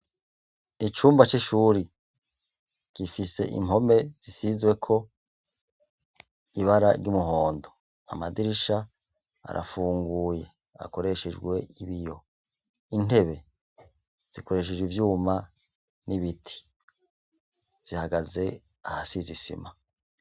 Icumba c'ishure gifise impome zisizweko ibara ry'umuhondo, amadirisha arafunguye, akoreshejwe ibiyo. Intebe zikoreshejwe ivyuma n'ibiti, zihagaze ahasize isima.